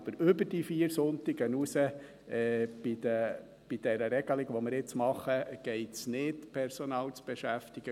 Aber bei der Regelung, die wir jetzt machen, geht es über diese vier Sonntage hinaus grundsätzlich nicht, Personal zu beschäftigen.